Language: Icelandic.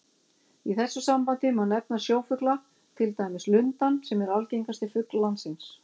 Í þessu sambandi má nefna sjófugla, til dæmis lundann sem er algengasti fugl landsins.